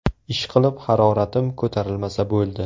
Ishqilib, haroratim ko‘tarilmasa bo‘ldi.